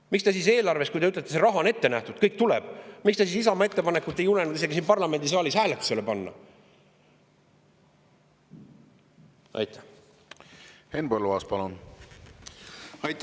Kui te ütlete, et see raha on ette nähtud ja kõik see tuleb, miks te siis Isamaa ettepanekut ei julenud siin parlamendisaalis isegi hääletusele panna?